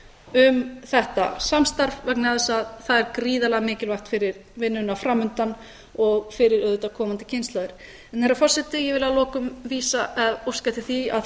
um þetta samstarf vegna þess að það er gríðarlega mikilvægt fyrir vinnuna framundan og fyrir auðvitað komandi kynslóðir herra forseti ég vil að lokum óska eftir því að